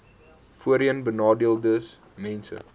voorheenbenadeeldesmense